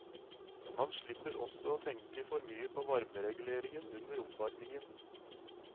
Man slipper også å tenke for mye på varmereguleringen under oppvarmingen.